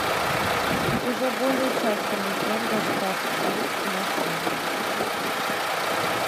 уже более часа мы ждем доставку блюд в наш номер